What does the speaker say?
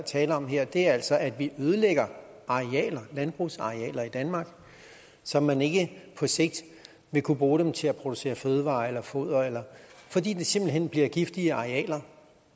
taler om her altså er at vi ødelægger landbrugsarealer i danmark så man ikke på sigt vil kunne bruge dem til at producere fødevarer eller foder fordi de simpelt hen bliver giftige arealer